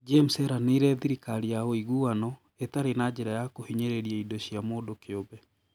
James eranĩire thirikari ya ũiguano, ĩtarĩ na njĩra ya kũhinyĩrĩria indo cia mũndũ kĩũmbe.